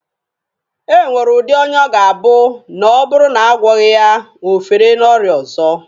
E nwere udi ọnya ọ ga-abụ na ọ bụrụ na a gwọghị ya, o fere n'ọrịa ọzọ.